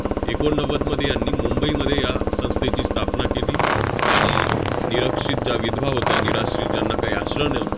एकोणनव्वदमध्ये यांनी मुंबईमध्ये या संस्थेची स्थापना केली. आणि निरक्षित ज्या विधवा होत्या, निराश्रित ज्यांना काही आश्रय न~